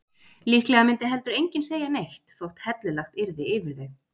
Líklega myndi heldur enginn segja neitt þótt hellulagt yrði yfir þau.